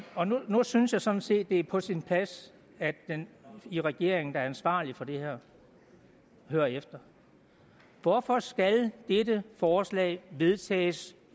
nu synes jeg sådan set det er på sin plads at man i regeringen der er ansvarlig for det her hører efter hvorfor skal dette forslag vedtages